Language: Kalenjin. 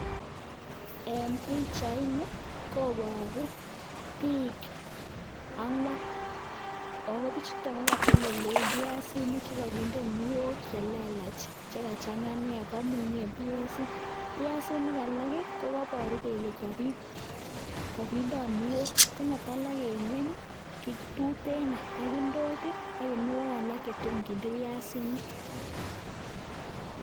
Eng Pichaini kobaruu piik angwaan kamunyeee pichuuu olenegit AK piasik kemunyeee kuniok pichuuu sigopit kokeny nekelaaa piassik kopa ndonyo pakealnda